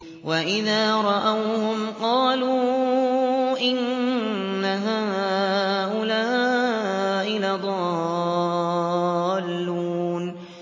وَإِذَا رَأَوْهُمْ قَالُوا إِنَّ هَٰؤُلَاءِ لَضَالُّونَ